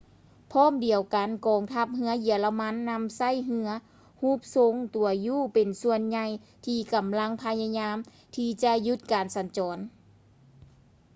ພ້ອມດຽວກັນ ກອງທັບເຮືອເຢຍລະມັນນຳໃຊ້ເຮືອຮູບຊົງຕົວ u ເປັນສ່ວນໃຫຍ່ທີ່ກຳລັງພະຍາຍາມທີ່ຈະຢຸດການສັນຈອນນີ້